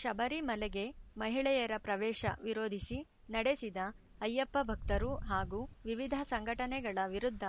ಶಬರಿಮಲೆಗೆ ಮಹಿಳೆಯರ ಪ್ರವೇಶ ವಿರೋಧಿಸಿ ನಡೆಸಿದ ಅಯ್ಯಪ್ಪ ಭಕ್ತರು ಹಾಗೂ ವಿವಿಧ ಸಂಘಟನೆಗಳ ವಿರುದ್ದ